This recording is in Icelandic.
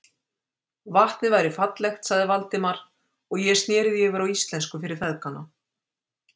Vatnið væri fallegt, sagði Valdimar, og ég sneri því yfir á íslensku fyrir feðgana.